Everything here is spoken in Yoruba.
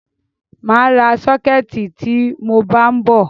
Màa ra sọ́kẹ̀tì tí mọ bá ń bọ̀.